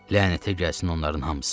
Lənətə gəlsin onların hamısı.